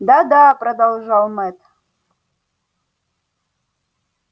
да да продолжал мэтт